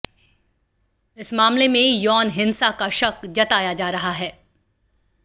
इस मामले में यौन हिंसा का शक जताया जा रहा है